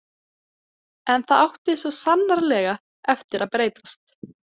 En það átti svo sannarlega eftir að breytast.